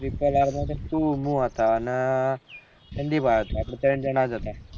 triple ર માં તો તું હું હતા અને ભાઈ હતા આપળે તય્ન જાના જ હતા